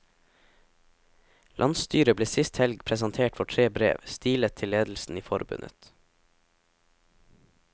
Landsstyret ble sist helg presentert for tre brev, stilet til ledelsen i forbundet.